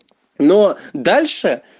но дальше